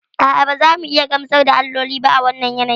A'a, ba za mu iya gamsar da alloli ba a wannan yanayin.